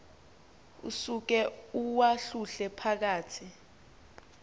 usuke uwahlule phakathi